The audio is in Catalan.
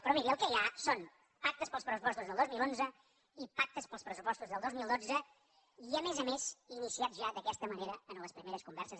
però miri el que hi ha són pactes per als pressupostos del dos mil onze i pactes per als pressupostos del dos mil dotze i a més a més iniciat ja d’aquesta manera en les primeres converses